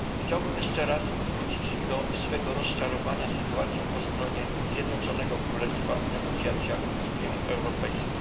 Chciałbym jeszcze raz wrócić do swego rozczarowania sytuacją po stronie Zjednoczonego Królestwa w negocjacjach z Unią Europejską.